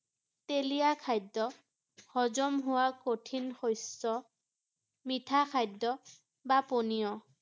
তেলীয়া খাদ্য, সজম হোৱা কঠিন শস্য, মিঠা খাদ্য বা পনীয় ৷